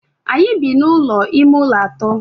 Anyị bi n'ụlọ ime ụlọ atọ.